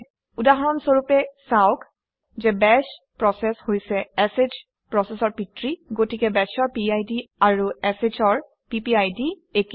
উদাহৰণ স্বৰূপে চাওক যে বাশ প্ৰচেচ হৈছে শ প্ৰচেচৰ পিতৃ গতিকে bash অৰ পিড আৰু sh অৰ পিপিআইডি একে